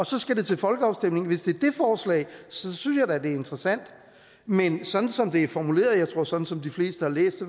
så skal til folkeafstemning synes jeg da det er interessant men sådan som det er formuleret og sådan som de fleste har læst